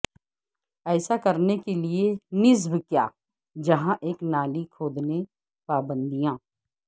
ایسا کرنے کے لئے نصب کیا جہاں ایک نالی کھودنے پابندیاں